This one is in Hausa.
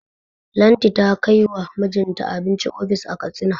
Lanti ta kai wa mijinta abinci ofis a Katsina.